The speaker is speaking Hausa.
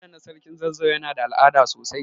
Fada na sarkin zazzau Yana da al'ada sosai.